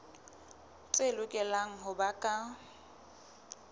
tse lokelang ho ba ka